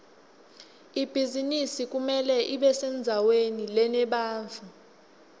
ibhizinisi kumele ibesendzaweni lenebantfu